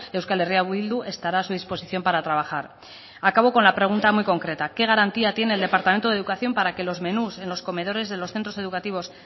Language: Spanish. euskal herria bildu estará a su disposición para trabajar acabo con la pregunta muy concreta qué garantía tiene el departamento de educación para que los menús en los comedores de los centros educativos